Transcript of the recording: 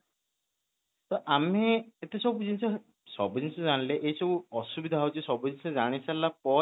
ତ ଆମେ ଏତେ ସାବୁ ଜିନିଷ, ସାବୁ ଜିନିଷ ଜାଣିଲେ ଏ ସବୁ ଅସୁବିଧା ହଉଛି ସବୁ ଜିନିଷ ଜାଣି ସାରିଲା